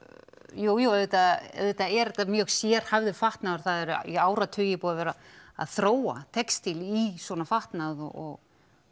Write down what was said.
jújú auðvitað auðvitað er þetta mjög sérhæfður fatnaður og það er í áratugi búið að vera að þróa textíl í svona fatnað og